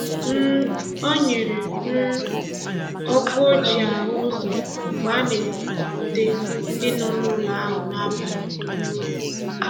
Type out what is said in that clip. um O nyere um ọkụ o ji ahụ ụzọ mgbe a na-ekupute ndị nọ n'ụlọ ahụ n'abalị. um